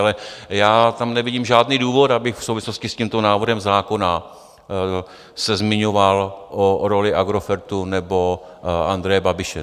Ale já tam nevidím žádný důvod, abych v souvislosti s tímto návrhem zákona se zmiňoval o roli Agrofertu nebo Andreje Babiše.